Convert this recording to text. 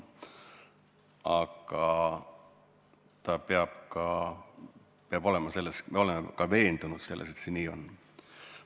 Aga me peame olema ka veendunud selles, et see nii on.